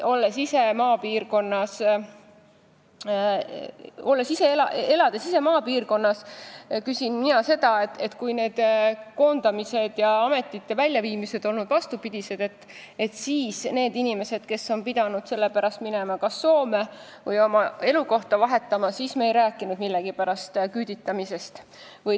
Elades ise maapiirkonnas, küsin mina, miks me ei rääkinud küüditamisest või täiesti mõttetutest meetmetest siis, kui need koondamised ja ametite väljaviimised olid vastupidise suunaga ning kui inimesed pidid selle pärast minema kas Soome või vahetama oma elukohta.